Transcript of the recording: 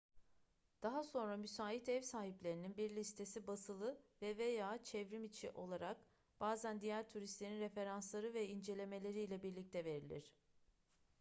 daha sonra müsait ev sahiplerinin bir listesi basılı ve/veya çevrimiçi olarak bazen diğer turistlerin referansları ve incelemeleriyle birlikte verilir